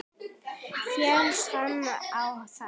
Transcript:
Féllst hann á það.